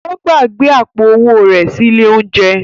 Ó gbàgbé àpò-owó rẹ̀ sí ilé-oúnjẹ.